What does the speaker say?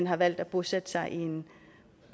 har valgt at bosætte sig i en